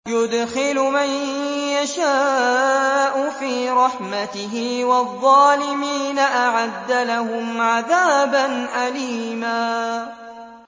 يُدْخِلُ مَن يَشَاءُ فِي رَحْمَتِهِ ۚ وَالظَّالِمِينَ أَعَدَّ لَهُمْ عَذَابًا أَلِيمًا